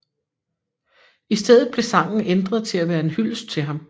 I stedet blev sangen ændret til at være en hyldest til ham